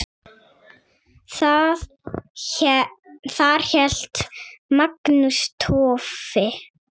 Þar hélt Magnús Torfi